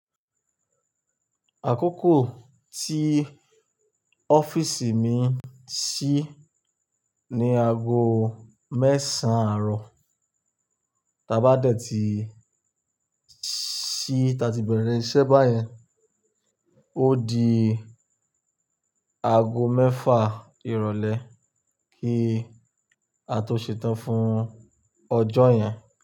Àkókò tí ọ́fìisì mi ṣí ní ago mẹ́sàn-án àárọ̀, ta bá dẹ̀ ti ṣí, ta ti bẹ̀rẹ̀ iṣẹ́ báyẹn, ó di ago mẹ́fà ìrọ̀lẹ́ kí a tó ṣetán fún ọjọ́ yẹn.